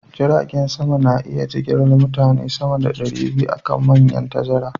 Jiragen sama na iya jigilar mutane sama da ɗari biyu a kan manyan tazara